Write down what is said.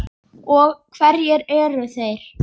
Og hverjir eru þeir?